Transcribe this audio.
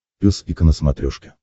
пес и ко на смотрешке